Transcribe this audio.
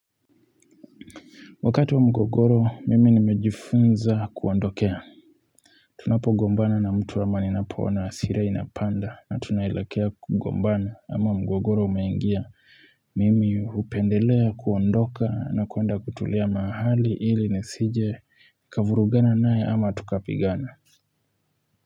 Wakati wa mgogoro mimi nimejifunza kuondokea tunapo gombana na mtu ama ninapoona hasira inapanda na tunaelekea kugombana ama mgogoro umeingia mimi hupendelea kuondoka na kuenda kutulia mahali ili nisije kavurugana naye ama tukapigana.